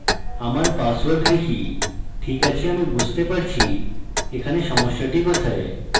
আমার password type ঠিক কাছে আমি বুঝতে পারছি এখানে সমস্যাটি কোথায়